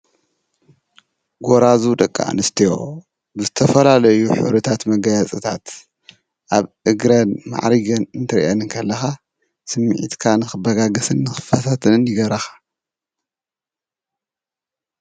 ጎራዙ ደቂ ኣንስትዮ ብዝተፈላለዩ ሕብርታት መጋየፅታት ኣብ እግረን ማዕሪገን እንትርእየን ከለካ ፤ስምዒትካ ንኽበጋገስን ንኽፈታተንን ይገብራኻ።